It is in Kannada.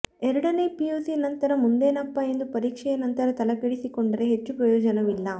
ಎರಡನೇ ಪಿಯುಸಿ ನಂತರ ಮುಂದೇನಪ್ಪಾ ಎಂದು ಪರೀಕ್ಷೆಯ ನಂತರ ತಲೆಕೆಡಿಸಿಕೊಂಡರೆ ಹೆಚ್ಚು ಪ್ರಯೋಜನವಿಲ್ಲ